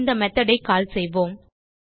இந்த methodஐ கால் செய்வோம்